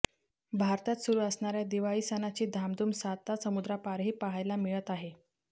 भारतात सुरू असणाऱया दिवाळी सणाची धामधुम सातासमुद्रापारही पहायला मिळत आहे